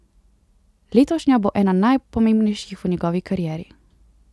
Letošnja bo ena najpomembnejših v njegovi karieri.